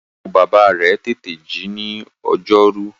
Ìyàwó-bàbá rẹ̀ tètè ji ní ọjọ́rú.